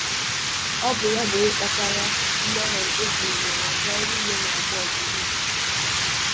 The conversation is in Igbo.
Ọ bụ ya bụ onye kpatara mmehie e biri n’ụwa nke anyị niile na-agba ọgụ megide.